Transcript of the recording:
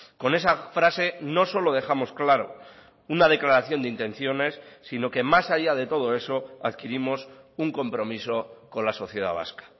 con esa frase no solo dejamos claro una declaración de intenciones sino que más allá de todo eso adquirimos un compromiso con la sociedad vasca